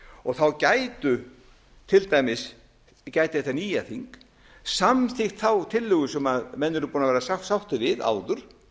stjórnarskrá þá gætu til dæmis gæti þetta nýja þing samþykkt þá tillögu sem menn eru búnir að vera sáttir við áður